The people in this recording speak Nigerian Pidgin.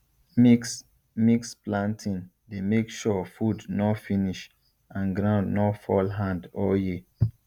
mixmix planting dey make sure food nor finish and ground nor fall hand all year